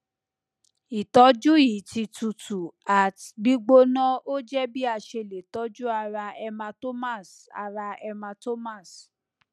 itoju yi ti tutu at gbigbona oje bi ase le toju ara hematomas ara hematomas